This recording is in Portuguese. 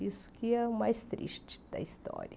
Isso que é o mais triste da história.